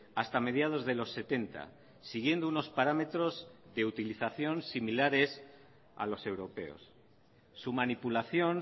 hasta mediados de los setenta siguiendo unos parámetros de utilización similares a los europeos su manipulación